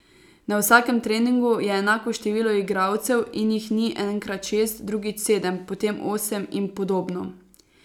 Na vsakem treningu je enako število igralcev in jih ni enkrat šest, drugič sedem, potem osem in podobno.